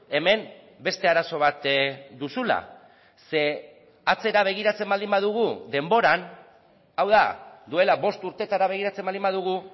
hemen beste arazo bat duzula ze atzera begiratzen baldin badugu denboran hau da duela bost urtetara begiratzen baldin badugu